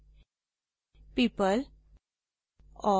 people और